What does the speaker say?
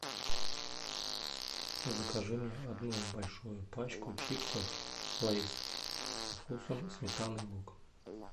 закажи мне одну большую пачку чипсов лейс со вкусом сметаны и лука